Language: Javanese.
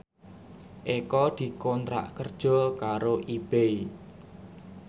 Eko dikontrak kerja karo Ebay